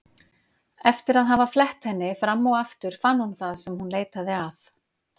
Eftir að hafa flett henni fram og aftur fann hún það sem hún leitaði að.